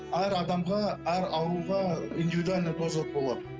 әр адамға әр ауруға индивидуальный болады